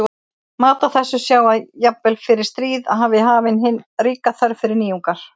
Má á þessu sjá að jafnvel fyrir stríð var hafin hin ríka þörf fyrir nýjungar.